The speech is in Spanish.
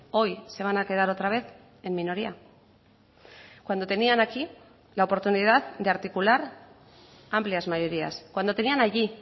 hoy se van a quedar otra vez en minoría cuando tenían aquí la oportunidad de articular amplias mayorías cuando tenían allí